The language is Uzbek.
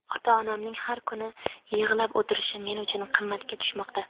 Ota-onamning har kuni yig‘lab o‘tirishi men uchun qimmatga tushmoqda.